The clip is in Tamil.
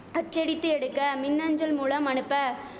அச்சடித்து எடுக்க மின்அஞ்சல் மூலம் அனுப்ப